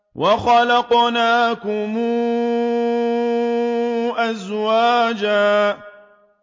وَخَلَقْنَاكُمْ أَزْوَاجًا